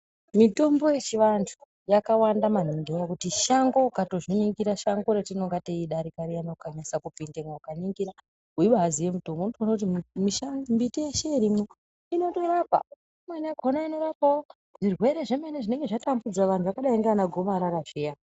Mitombo yechivanthu yakawanda maningi ngenyaya yekuti shango ukatozviningira, shango ratinenge teidarika riyani ukanasa kupindemo ukaningira weibaziya mitombo unotoona kuti mimbiti yeshe irimo inotorapa. Imweni yakona inorapawo zvirwere zvinenge zvatambudza vanthu zvakadai ndivana gomarara zviya.